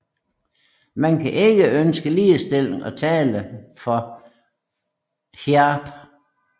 Man kan ikke ønske ligestilling og tale for hijab